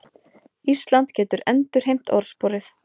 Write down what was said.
Ísland getur endurheimt orðsporið